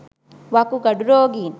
වකුගඩු රෝගීන්